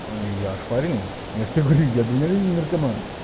и ошпаренный я же тебе говорю я дальновидный наркоман